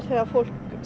þegar fólk